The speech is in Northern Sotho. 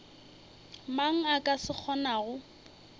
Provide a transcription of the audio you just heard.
mang a ka se kgonago